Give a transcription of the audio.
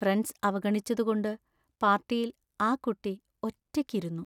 Friends അവഗണിച്ചതു കൊണ്ട് പാർട്ടിയിൽ ആ കുട്ടി ഒറ്റയ്ക്ക് ഇരുന്നു.